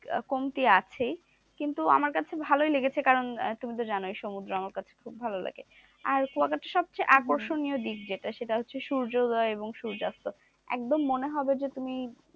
কমতি আছেই কিন্তু আমার কাছে ভালই লেগেছে কারণ তুমি তো জানোই সমুদ্রে আমার কাছে খুব ভালো লাগে আর কুয়াকাটার সবচে আকর্ষণীয় দিক যেটা সেটা হচ্ছে সূর্যদয় এবং সূর্যাস্ত একদম মনে হবে যে তুমি,